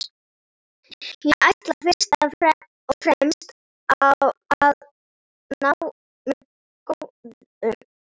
Ég ætla fyrst og fremst að ná mér góðum.